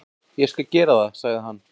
"""Ég skal gera það, sagði hann."""